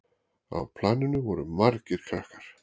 Á planinu voru margir krakkar.